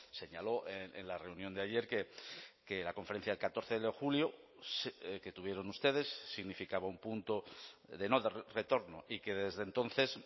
señaló en la reunión de ayer que la conferencia del catorce de julio que tuvieron ustedes significaba un punto de no retorno y que desde entonces